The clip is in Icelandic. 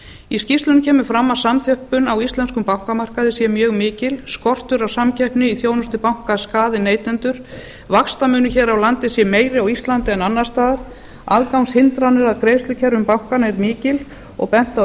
í skýrslunni kemur fram að samþjöppun á íslenskum bankamarkaði sé mjög mikil skortur á samkeppni í þjónustu banka skaði neytendur vaxtamunur hér á landi sé meiri hér á íslandi en annars staðar aðgangshindranir að greiðslukerfum bankanna er mikil og bent á